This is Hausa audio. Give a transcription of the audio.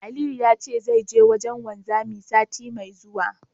Aliyu ya ce zai je wajen wanzami, sati mai zuwa.